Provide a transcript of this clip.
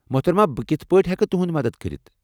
محترمہ ،بہٕ کتھہٕ پٲٹھۍ ہٮ۪کہٕ تُہٕنٛد مدتھ کٔرِتھ؟